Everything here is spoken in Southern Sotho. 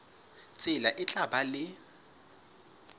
tsela e tla ba le